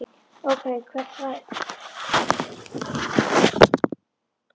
Ókei, hvert var ég nú komin?